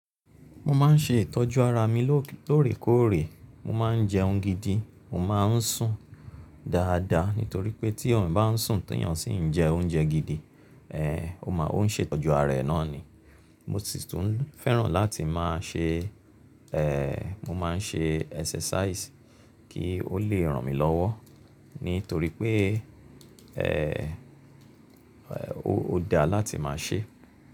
Mo máa ń ṣe ìtọ́jú ara mi lóòrèkóòrè, mo máa ń jẹún gidi, mo máa ń sùn dáadáa nítorí pé tí èèyàn bá ń sùn tí èèyàn sì ń jẹ oúnjẹ gidi, eh, ó máa ń ṣe ìtọ́jú ara rẹ̀ náà ni. Mo sì tún fẹ́ràn láti máa ṣe, eh, mo máa ń ṣe exercise kí ó lè ràn mí lọ́wọ́ nítorí pé, eh, ó da láti máa ṣe.